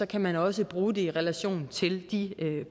kan man også bruge det i relation til de